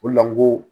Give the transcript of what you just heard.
O le la n ko